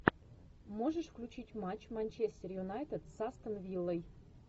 можешь включить матч манчестер юнайтед с астон виллой